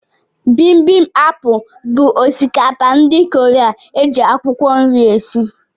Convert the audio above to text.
Bimbimapu bụ osikapa ndị kọreaa, eji akwụkwọ nri esị.